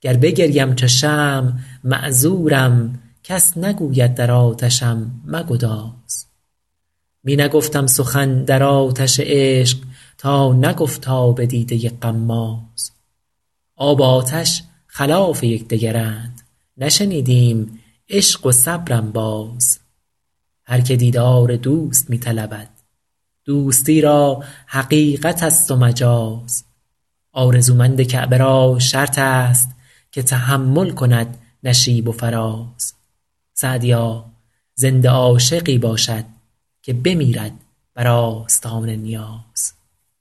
گر بگریم چو شمع معذورم کس نگوید در آتشم مگداز می نگفتم سخن در آتش عشق تا نگفت آب دیده غماز آب و آتش خلاف یک دگرند نشنیدیم عشق و صبر انباز هر که دیدار دوست می طلبد دوستی را حقیقت است و مجاز آرزومند کعبه را شرط است که تحمل کند نشیب و فراز سعدیا زنده عاشقی باشد که بمیرد بر آستان نیاز